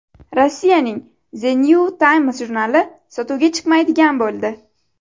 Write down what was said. Rossiyaning The New Times jurnali sotuvga chiqmaydigan bo‘ldi.